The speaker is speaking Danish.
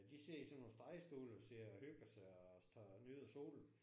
De sidder i sådan nogle strandstole og sidder og hygger sig og står og nyder solen